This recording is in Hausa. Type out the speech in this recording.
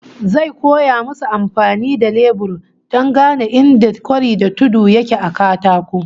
Zai koya musu amfani da lebur don gane inda kwari da tudu yake a katako